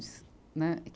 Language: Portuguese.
Né, e que